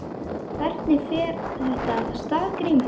Hvernig fer þetta af stað Grímur?